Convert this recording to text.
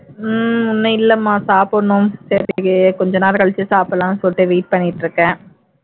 ஹம் இன்னும் இல்லைமா சாப்பிடணும் சரி கொஞ்ச கழிச்சு சாப்பிடலாம்னு சொல்லிட்டு wait பண்ணிட்டு இருக்கேன்